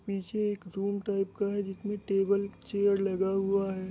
पीछे एक zone type का है जिसमे टेबल चेयर लगा हुआ है ।